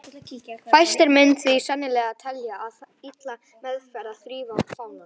Fæstir myndu því sennilega telja það illa meðferð að þrífa fánann.